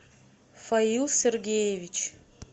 фаил сергеевич